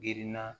Girinna